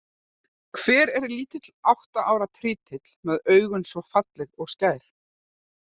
Hver er lítill átta ára trítill með augu svo falleg og skær?